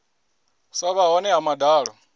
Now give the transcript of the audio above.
sa vha hone ha madalo